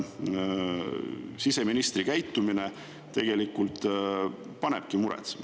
Siseministri käitumine panebki muretsema.